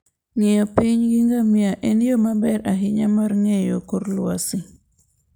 Ng'iyo piny gi ngamia en yo maber ahinya mar ng'eyo kor lwasi.